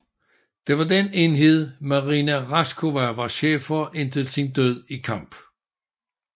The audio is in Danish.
Det var den enhed Marina Raskova var chef for indtil sin død i kamp